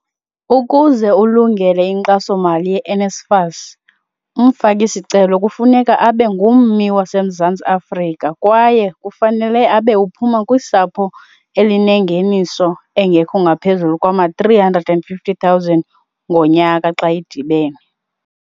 Ukuze ulungele inkxasomali ye-NSFAS, umfaki-sicelo kufuneka abe ngummi waseMzantsi Afrika kwaye kufanele abe uphuma kusapho elinengeniso engekho ngaphezulu kwama-R350 000 ngonyaka xa idibene.